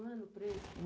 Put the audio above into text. Um ano preso?